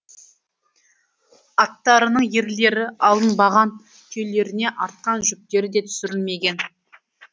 аттарының ерлері алынбаған түйелеріне артқан жүктері де түсірілмеген